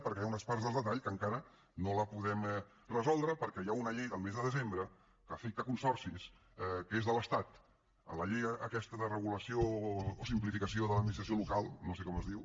perquè hi ha unes parts del detall que encara no les podem resoldre perquè hi ha una llei del mes de desembre que afecta consorcis que és de l’estat la llei aquesta de regulació o simplificació de l’administració local no sé com es diu